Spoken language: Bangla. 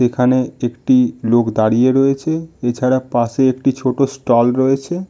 এখানে একটি লোক দাঁড়িয়ে রয়েছে এছাড়া পাশে একটি ছোট ষ্টল রয়েছে।